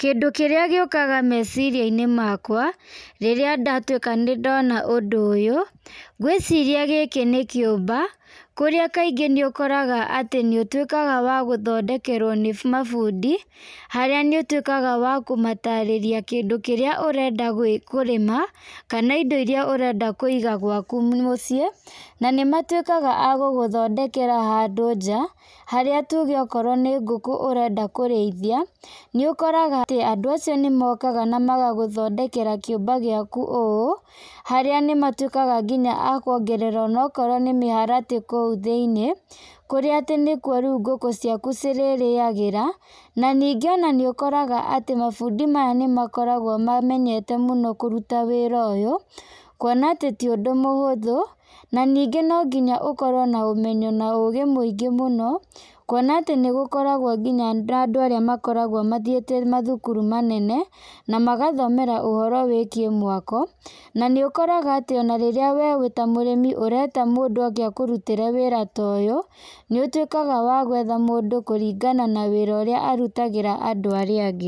Kĩndũ kĩrĩa gĩũkaga meciria-inĩ makwa, rĩrĩa ndatwĩka nĩ ndona ũndũ ũyũ, ngwĩciria gĩkĩ nĩ kĩũmba, kũrĩa kaingĩ ũkoraga nĩ ũtwĩkaga wa gũtondekerwo nĩ mabundi , harĩa nĩ utwĩkaga wa kũmatarĩria kĩndũ kĩrĩa ũrenda kũrĩma, kana indo iria ũrenda kũiga gwaku mũciĩ, na nĩ matwĩkaga agũgũthondekera handũ nja, harĩa tũge okorwo nĩ ngũkũ ũrenda kũrĩithia, nĩ ũkoraga andũ acio nĩ mokaga na magagũ thondekera kĩũmba gĩaku ũũ, harĩa nĩmatwĩkaga akwongerera ona akorwo nĩ mĩharatĩ kũu thĩiniĩ , kũrĩa atĩ nĩkwo ngũkũ ciaku cirĩ rĩagĩra, na ningĩ ona nĩ ũkoraga ona mabundi maya nĩmakoragwo mamenyete mũno kũruta wĩra ta ũyũ, kuona ti ũndũ mũhũthũ, na ningĩ no nginya ũkorwo na ũmenyo na ũgĩ mũingĩ mũno, kuona atĩ nĩgũkoragwo na andũ arĩa makoragwo mathiĩte mathukuru manene, na magathomera ũhoro wĩgiĩ mwako, na nĩ ũkoraga rĩrĩa we wĩta mũrĩmi ũreta mũndũ oke akũrutĩre wĩra ta ũyũ, nĩ ũtwĩkaga wa gwetha mũndũ kũringana na wĩra ũrĩa arutagĩra andũ arĩa angĩ.